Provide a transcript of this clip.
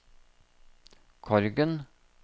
Korgen